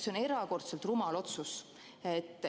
See on erakordselt rumal otsus.